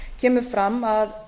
kemur fram að